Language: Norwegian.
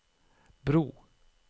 bro